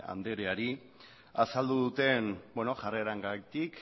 andreari azaldu duten jarrerarengatik